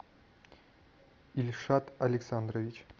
ильшат александрович